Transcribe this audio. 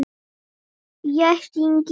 Ég hringi í pabba.